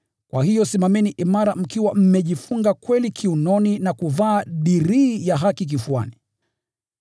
Kwa hiyo simameni imara mkiwa mmejifunga kweli kiunoni na kuvaa dirii ya haki kifuani,